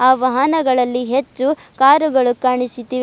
ಆ ವಾಹನಗಳಲ್ಲಿ ಹೆಚ್ಚು ಕಾರುಗಳು ಕಾಣಿಸುತ್ತಿವೆ.